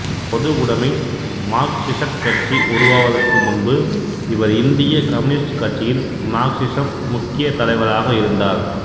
பொதுவுடைமை மார்க்சிசக் கட்சி உருவாவதற்கு முன்பு இவர் இந்திய கம்யூனிஸ்ட் கட்சியின் மார்க்சிசம் முக்கிய தலைவராக இருந்தார்